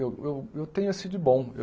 Eu eu eu tenho esso de bom.